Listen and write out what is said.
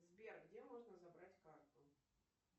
сбер где можно забрать карту